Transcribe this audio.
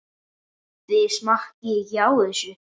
Þið smakkið ekki á þessu!